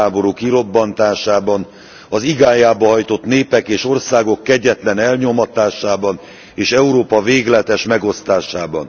világháború kirobbantásában, az igájába hajtott népek és országok kegyetlen elnyomatásában és Európa végletes megosztásában.